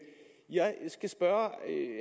jeg skal spørge